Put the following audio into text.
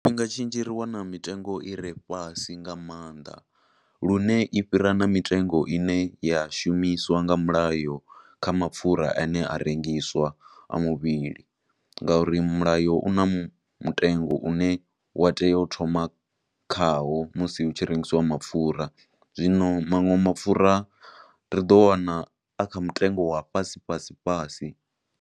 Tshifhinga tshinzhi ri wana mitengo ire fhasi nga maanḓa, lune i fhira na mitengo ine ya shumiswa nga mulayo kha mapfura a ne a rengiswa a muvhili, ngo uri mulayo u na mutengo wane wa tea u thoma kha wo musi hu tshi rengisiwa mapfura. Zwino manwe mapfura ri ḓo wana a kha mutengo wa fhasi fhasi fhasi,